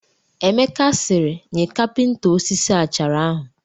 Emeka sịrị, nye kapịnta osisi achara ahụ